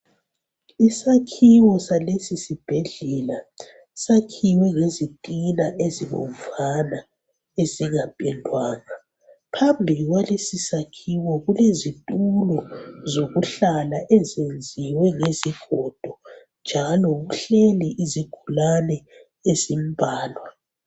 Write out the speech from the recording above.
Isakhiwo sales sibhedlela sakhiwe ngezitina ezibomvana ezingapendwanga. Phambili kwalesi sakhiwo kulezitulo zokuhlala ezenziwe ngezigodo njalo kuhleli izigulane ezimbalwa.